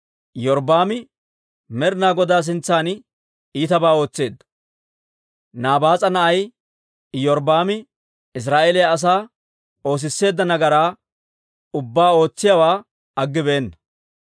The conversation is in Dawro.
Iyorbbaami Med'ina Godaa sintsan iitabaa ootseedda; Nabaas'a na'ay Iyorbbaami Israa'eeliyaa asaa oosisseedda nagaraa ubbaa ootsiyaawaa aggibeenna.